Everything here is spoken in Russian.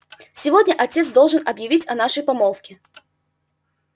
сегодня отец должен объявить о нашей помолвке